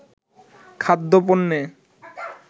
খাদ্য-পণ্যে